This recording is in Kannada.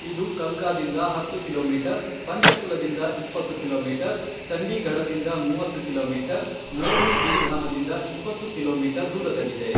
ಇದು ಕಲ್ಕಾದಿಂದ ಹತ್ತು ಕಿಲೋಮೀಟರ್, ಪಂಚಕುಲದಿಂದ ಇಪ್ಪತ್ತು ಕಿಲೋಮೀಟರ್, ಚಂಡೀಗಢದಿಂದ ಮೂವತ್ತು ಕಿಲೋಮೀಟರ್, ಮೋರ್ನಿ ಗಿರಿಧಾಮದಿಂದ ಇಪ್ಪತ್ತು ಕಿಲೋಮೀಟರ್ ದೂರದಲ್ಲಿದೆ.